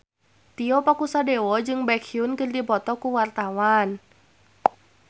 Tio Pakusadewo jeung Baekhyun keur dipoto ku wartawan